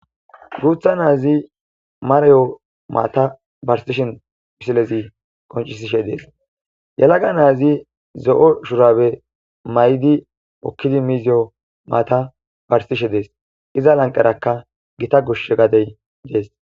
Gutha naazi mareyo maata barsishen pisilezi qoncisishe dees yalaga naazi zo7o shurabe may7di okkidi miziyo maata barsishe dees iza lanqarakka gita gush gadey dees.